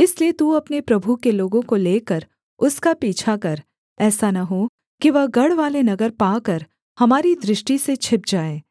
इसलिए तू अपने प्रभु के लोगों को लेकर उसका पीछा कर ऐसा न हो कि वह गढ़वाले नगर पाकर हमारी दृष्टि से छिप जाए